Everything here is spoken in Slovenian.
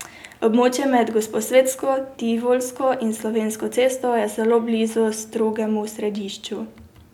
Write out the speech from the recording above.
Območje med Gosposvetsko, Tivolsko in Slovensko cesto je zelo blizu strogemu središču.